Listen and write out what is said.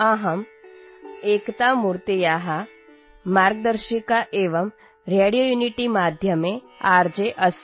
अहम् एकतामूर्तेः मार्गदर्शिका एवं रेडियोयुनिटीमाध्यमे आर्जे अस्मि